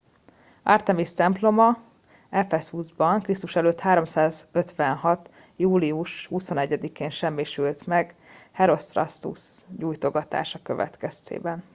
artemis temploma ephesusban kr.e. 356. július 21-én semmisült meg herostratus gyújtogatása következtében